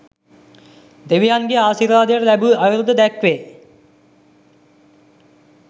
දෙවියන්ගේ ආශිර්වාදය ලැබූ අයුරුද දැක්වේ.